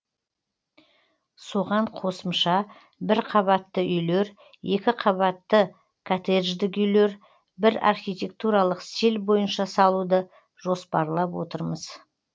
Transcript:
соған қосымша бір қабатты үйлер екі қабатты коттеждік үйлер бір архитектуралық стиль бойынша салуды жоспарлап отырмыз